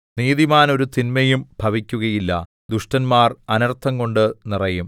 നീതിമാന് ഒരു തിന്മയും ഭവിക്കുകയില്ല ദുഷ്ടന്മാർ അനർത്ഥംകൊണ്ട് നിറയും